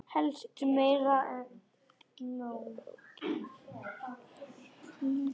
Helst meira en nóg.